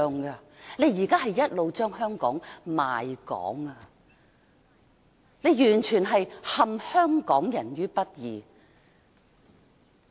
他現在一直在賣港，完全是陷香港人於不義。